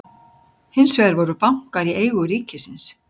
Hins vegar voru bankar í eigu ríkisins.